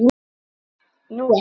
Nú er helgi.